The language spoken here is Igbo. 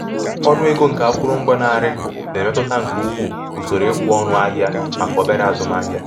ọnụ ego nke akụrụngwa na-arị na-emetụta nke ukwuu usoro ikwe ọnụ ahịa maka obere azụmahịa